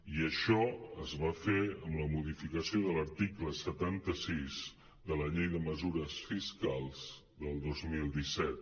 i això es va fer amb la modificació de l’article setanta sis de la llei de mesures fiscals del dos mil disset